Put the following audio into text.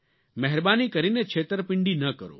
મહેરબાની કરીને છેતરપિંડી ન કરો